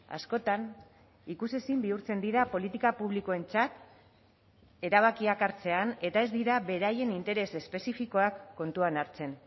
askotan ikusezin bihurtzen dira politika publikoentzat erabakiak hartzean eta ez dira beraien interes espezifikoak kontuan hartzen